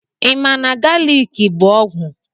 Ịma na galiki bụ ọgwụ?